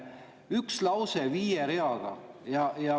Üks lause viiel real!